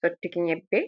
sottuki nyebbe.